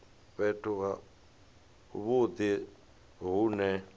fhethu ha vhudi hu ne